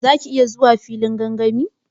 Za ki iya zuwa filin gangami?